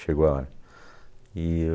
Chegou a hora. E